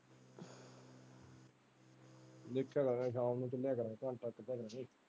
ਦੇਖਿਆ ਕਰਾਂਗੇ ਸ਼ਾਮ ਨੂੰ ਖੇਡਿਆ ਕਰਾਂਗੇ ਘੰਟਾ ਇੱਕ ਅੱਧਾ।